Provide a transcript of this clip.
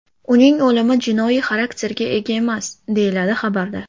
Uning o‘limi jinoiy xarakterga ega emas”, deyiladi xabarda.